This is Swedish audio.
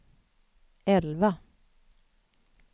elva